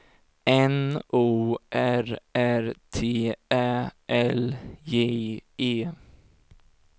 N O R R T Ä L J E